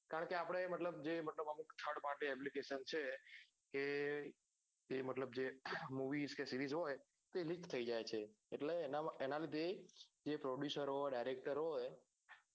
કારણ કે આપડે મતલબ જે મતલબ આપડે જ thirdparty apllicationapplication છે એ એ મતલબ જે movies કે series હોય તે link થઇ જાય છે એટલે એના એનામાં જે producer હોય director હોય